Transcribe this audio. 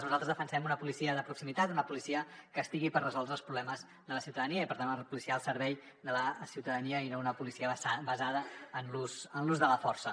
nosaltres defensem una policia de proximitat una policia que estigui per resoldre els problemes de la ciutadania i per tant una policia al servei de la ciutadania i no una policia basada en l’ús de la força